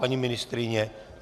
Paní ministryně?